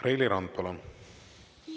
Reili Rand, palun!